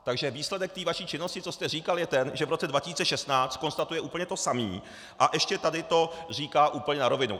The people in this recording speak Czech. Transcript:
Takže výsledek té vaší činnosti, co jste říkal, je ten, že v roce 2016 konstatuje úplně to samé a ještě to tady říká úplně na rovinu.